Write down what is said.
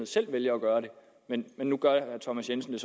selv vælge at gøre det men nu gør herre thomas jensen